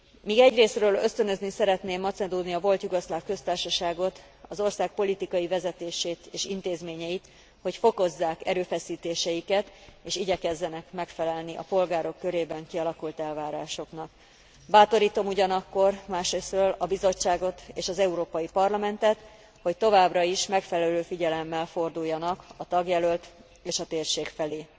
meg. Míg egyrészről ösztönözni szeretném Macedónia Volt Jugoszláv Köztársaságot, az ország politikai vezetését és intézményeit, hogy fokozzák erőfeszítéseiket és igyekezzenek megfelelni a polgárok körében kialakult elvárásoknak, bátorítom másrészről a Bizottságot és az Európai Parlamentet, hogy továbbra is megfelelő figyelemmel forduljanak a tagjelölt és a térség felé.